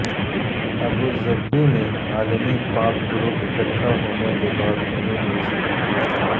Abu Dhabi میں عالمی pop group اکٹھا ہونے کے بعد نئی میوزک وڈیو